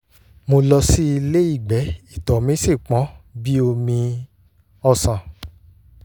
mo lọ sí ilé ìgbẹ́ ìtọ̀ mi sì pọ́n bí omi ọsàn